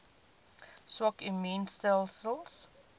swak immuun stelsels